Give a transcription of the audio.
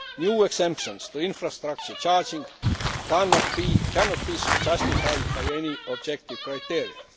New exemptions to infrastructure charging cannot be justified by any objective criteria.